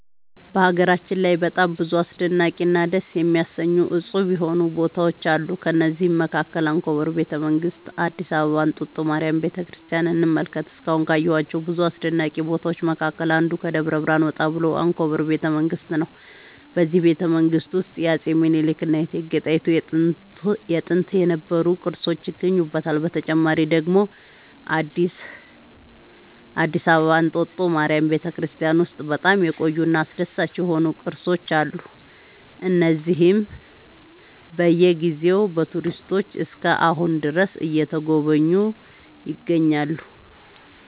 በሀገራችን ላይ በጣም ብዙ አስደናቂ እና ደስ የሚያሰኙ እፁብ የሆኑ ቦታዎች አሉ ከእነዚህም መካከል አንኮበር ቤተ መንግስት አዲስ አበባ እንጦጦ ማርያም ቤተክርስቲያንን እንመልከት እስካሁን ካየኋቸው ብዙ አስደናቂ ቦታዎች መካከል አንዱ ከደብረ ብርሃን ወጣ ብሎ አንኮበር ቤተ መንግስት ነው በዚህ ቤተመንግስት ውስጥ የአፄ ሚኒልክ እና የእቴጌ ጣይቱ ጥንት የነበሩ ቅርሶች ይገኙበታል። በተጨማሪ ደግሞ አዲስ አበባ እንጦጦ ማርያም ቤተክርስቲያን ውስጥ በጣም የቆዩ እና አስደሳች የሆኑ ቅርሶች አሉ እነዚህም በየ ጊዜው በቱሪስቶች እስከ አሁን ድረስ እየተጎበኙ ይገኛሉ